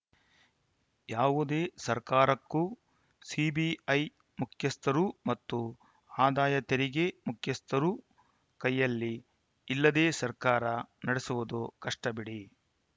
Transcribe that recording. ಯಾವುದೇ ಸರ್ಕಾರಕ್ಕೆ ಸಿಬಿಐ ಮುಖ್ಯಸ್ಥರು ಮತ್ತು ಆದಾಯ ತೆರಿಗೆ ಮುಖ್ಯಸ್ಥರು ಕೈಯಲ್ಲಿ ಇಲ್ಲದೇ ಸರ್ಕಾರ ನಡೆಸುವುದು ಕಷ್ಟಬಿಡಿ